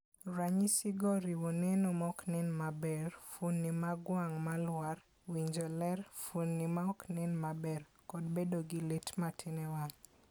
Ranyisigo oriwo neno ma ok nen maber, fuonde mag wang' ma lwar, winjo ler, fuonde ma ok nen maber, kod bedo gi lit matin e wang'.